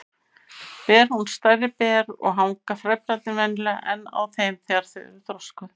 Ber hún stærri ber og hanga frævlarnir venjulega enn á þeim þegar þau eru þroskuð.